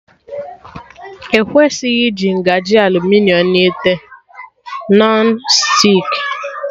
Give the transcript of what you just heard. Ekwesịghị iji ngaji aluminiọm na ite Nọn stik